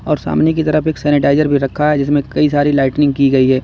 और सामने की तरफ एक सैनिटाइजर भी रखा है जिसमें कई सारी लाइटनिंग की गई है।